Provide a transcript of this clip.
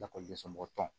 Lakɔlidensomɔgɔ tɔn